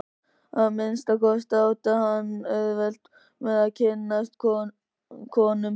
Að minnsta kosti átti hann auðvelt með að kynnast konum.